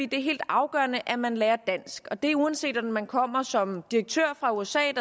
det er helt afgørende at man lærer dansk og det er uanset om man kommer som direktør fra usa